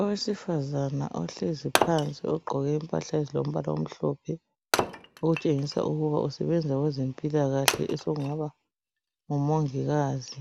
Owesifazana ohlezi phansi ogqoke impahla ezilombala omhlophe okutshengisa ukuba usebenza kwezempilakahle osengaba ngumongikazi,